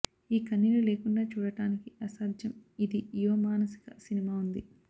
ఈ కన్నీళ్లు లేకుండా చూడటానికి అసాధ్యం ఇది యువ మానసిక సినిమా ఉంది